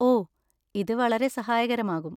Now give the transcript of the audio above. ഓ, ഇത് വളരെ സഹായകരമാകും.